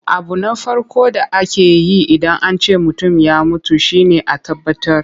Abu na farko da ake yi Idan an ce mutum ya mutu shi ne a tabbatar.